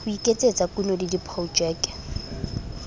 ho iketsetsa kuno le diprojeke